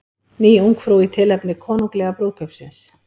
Ný Ungfrú í tilefni konunglega brúðkaupsins